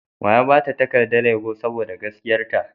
Wa ya ba ta takardar yabo sboda gaskiyarta?